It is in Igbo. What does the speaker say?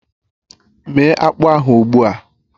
Méé akpụ ahụ ugbu a!